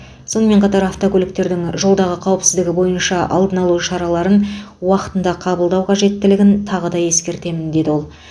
сонымен қатар автокөліктердің жолдағы қауіпсіздігі бойынша алдын алу шараларын уақытанда қабылдау қажеттілігін тағы да ескертемін деді ол